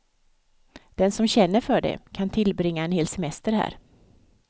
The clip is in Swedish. Den som känner för det kan tillbringa en hel semester här.